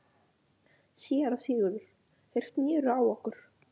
SÉRA SIGURÐUR: Þeir sneru á okkur.